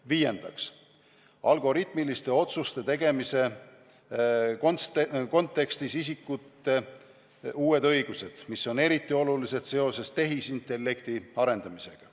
Viiendaks, algoritmiliste otsuste tegemise kontekstis isikute uued õigused, mis on eriti olulised seoses tehisintellekti arendamisega.